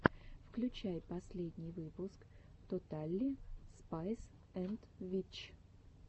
включай последний выпуск тоталли спайс энд витч